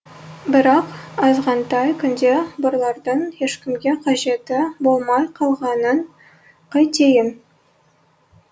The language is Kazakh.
бірақ азғантай күнде бұлардың ешкімге қажеті болмай қалғанын қайтейін